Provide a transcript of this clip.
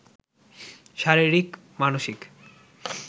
শারীরিক, মানসিক